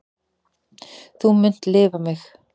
Þú munt lifa mig.